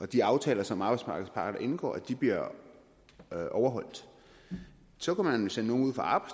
de aftaler som arbejdsmarkedets parter indgår bliver overholdt så kunne man jo sende nogle ud fra